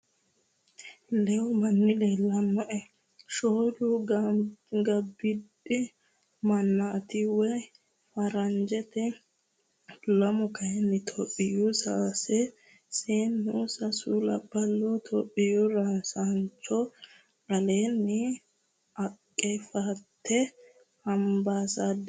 Leehu manni leelanoe. shoolu gobbidi mannati woyi farranijjete lamu kaayini itiyopiyaho sase seeneho sasu labbaloho itiyopiyu rosanicho alemi aqefete ambasaderre ikkitino